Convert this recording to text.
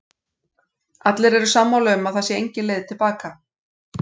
Allir eru sammála um að það sé engin leið til baka.